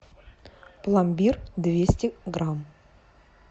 пломбир двести грамм